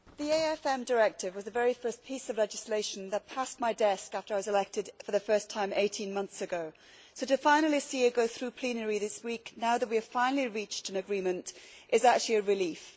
Mr President, the AIFM Directive was the very first piece of legislation that passed my desk after I was elected for the first time eighteen months ago, so to see it finally go through plenary this week, now that we have finally reached an agreement, is actually a relief.